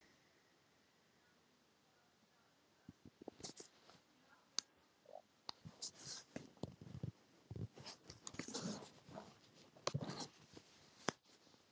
Þóra Kristín Ásgeirsdóttir: Hvað er í, hvað er á döfinni?